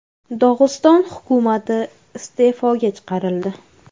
Dog‘iston hukumati iste’foga chiqarildi.